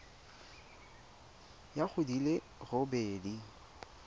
ya go di le robedi